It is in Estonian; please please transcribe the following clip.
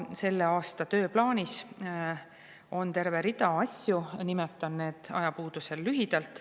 Selle aasta tööplaanis on terve rida asju, mida nimetan ajapuudusel lühidalt.